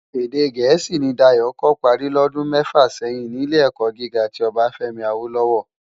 Èdè Gẹẹsi ni Dayo kò pári lòdún mèfá sèyin ni Ilé-èkò gigá ti Obafemi Awolowo.